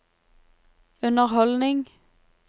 underholdning